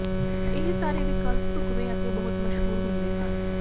ਇਹ ਸਾਰੇ ਵਿਕਲਪ ਢੁਕਵੇਂ ਅਤੇ ਬਹੁਤ ਮਸ਼ਹੂਰ ਹੁੰਦੇ ਹਨ